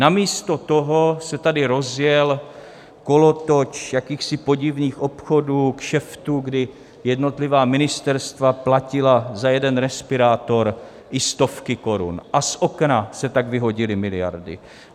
Namísto toho se tady rozjel kolotoč jakýchsi podivných obchodů, kšeftů, kdy jednotlivá ministerstva platila za jeden respirátor i stovky korun, a z okna se tak vyhodily miliardy.